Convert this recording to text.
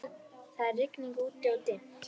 Það er rigning úti-og dimmt.